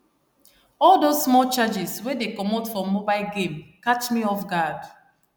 all those small charges wey dey comot for mobile game catch me off guard